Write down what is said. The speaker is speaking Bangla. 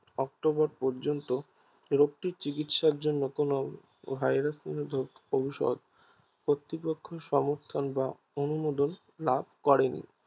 অক্টোবর পর্যন্ত রোগটির চিকিৎসার জন্য কোনো ভাইরাস নিরোধক ঔষধ কর্তৃপক্ষ সমর্থন